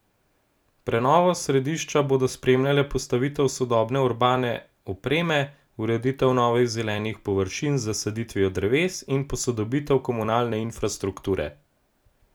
Prenovo središča bodo spremljale postavitev sodobne urbane opreme, ureditev novih zelenih površin z zasaditvijo dreves in posodobitev komunalne infrastrukture.